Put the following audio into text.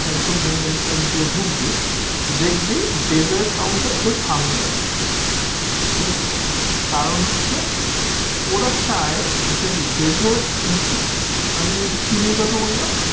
একদম main entrance দিয়ে ঢুকবি দেখবি desert counter তোর সামনে রাখা ঠিক আছে কারণ হচ্ছে ওরা চায় যে desert হচ্ছে আমি যে ওই যে চিনির কথা বললাম